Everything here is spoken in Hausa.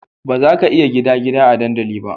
Bazaka iya gida gida a dandali ba